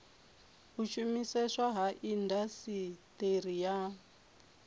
a shumiseswa kha indasiteri ya